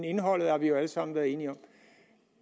indholdet har vi jo alle sammen været enige om